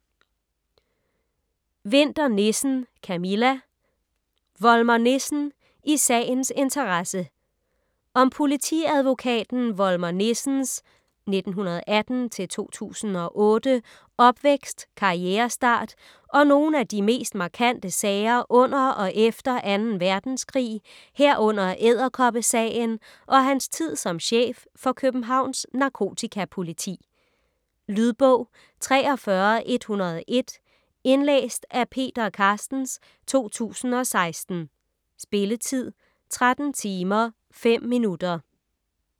Winther Nissen, Camilla: Volmer Nissen - i sagens interesse Om politiadvokaten Volmer Nissens (1918-2008) opvækst, karrierestart og nogle af de mest markante sager under og efter 2. verdenskrig, herunder "Edderkoppesagen" og hans tid som chef for Københavns Narkotikapoliti. Lydbog 43101 Indlæst af Peter Carstens, 2016. Spilletid: 13 timer, 5 minutter.